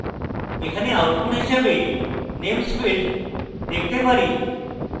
এখানে output হিসাবে names field দেখতে পারি